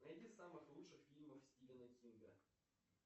найди самых лучших фильмов стивена кинга